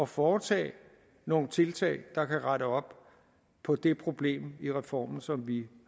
foretage nogle tiltag der kan rette op på det problem i reformen som vi i